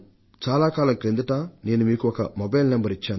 చాలా కాలం క్రిందట నేను మీకు ఒక మొబైల్ నంబర్ ను ఇచ్చాను